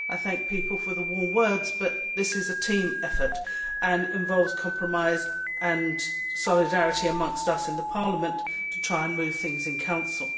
I thank people for their warm words, but this is a team effort and involves compromise and solidarity amongst us in Parliament to try and move things in Council.